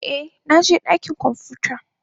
Eh, na je dakin kwamfuta.